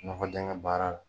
Nɔgɔ dɛngɛn baara la